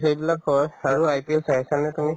সেইবিলাকৰ আৰু IPL চাইছানে তুমি